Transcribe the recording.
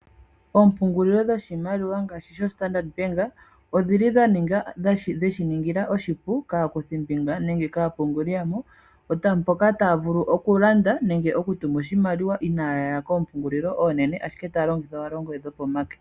Oompungulilo dhoshimaliwa ngaashi sho Standard Bank odhili dheshiningila oshipu aakuthimbinga nenge kaapunguli yadho, mpoka taya vulu okulanda nenge okutuma oshimaliwa inayaya koompungulilo oonene, ashike otaya longitha owala oongodhi dhopomake.